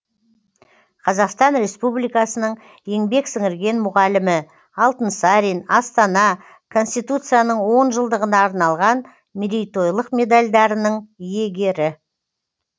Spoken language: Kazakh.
қазақстан республикасының еңбек сіңірген мұғалімі алтынсарин астана конституцияның жылдығына арналған мерейтойлық медальдарының иегері